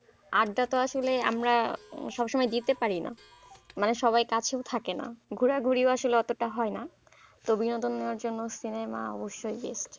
আড্ডা তো আসলে আমরা সব সময় দিতে পারি না মানে সবাই কাছেও থাকে না ঘোরাঘুরিও আসলে অতটা হয় না, তো বিনোদনের জন্য সিনেমা অবশ্যই,